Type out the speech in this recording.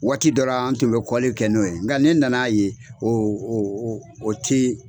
Waati dɔra an tun be kɔli kɛ n'o ye nga ne nana ye o o o ti